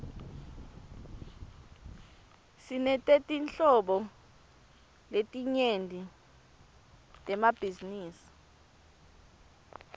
sinetetinhlobo letinyenti temabhizinisi